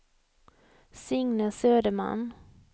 Signe Söderman